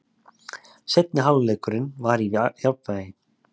Seinni hálfleikurinn var í jafnvægi